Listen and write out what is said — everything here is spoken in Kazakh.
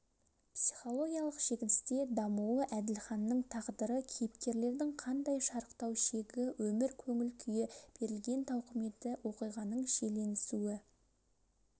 психологиялық шегіністе дамуы әділханның тағдыры кейіпкерлердің қандай шарықтау шегі өмір көңіл күйі берілген тауқыметі оқиғаның шиеленісуі